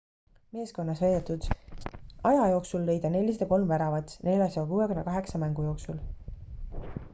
meeskonnas veedetud aja jooksul lõi ta 403 väravat 468 mängu jooksul